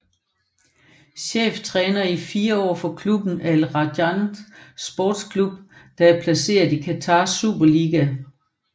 Cheftræner i 4 år for klubben Al Rayan Sports Club der er placeret i Qatars Superliga